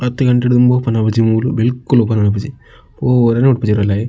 ಪತ್ತ್ ಗಂಟೆ ಡ್ ದುಂಬು ಓಪೆನ್ ಆಪುಜಿ ಮೂಲು ಬಿಲ್ಕುಲ್ ಓಪೆನ್ ಆಪುಜಿ ಪೋವೆರ್ಗ್ ಲ ಬುಡ್ಪುಜೆರ್ ಉಲಯಿ.